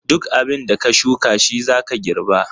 Duk abin da ka shuka shi zaka girba.